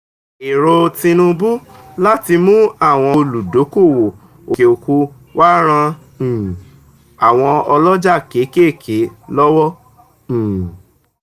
èrò tinubu láti mú àwọn olúdókòwò òkè òkun wá ran um àwọn oloja kéékèèké lọ́wọ́. um